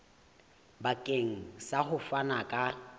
bakeng sa ho fana ka